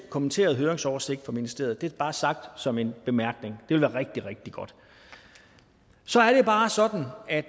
kommenterede høringsoversigt fra ministeriet det er bare sagt som en bemærkning det ville være rigtig rigtig godt så er det bare sådan at